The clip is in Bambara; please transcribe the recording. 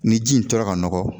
Ni ji in tora ka nɔgɔ